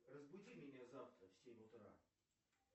разбуди меня завтра в семь утра